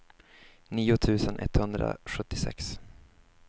nio tusen etthundrasjuttiosex